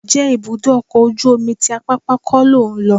Ǹjẹ́ ibùdó ọkọ̀ ojú omi ti Apápá kọ́ lò ń lọ?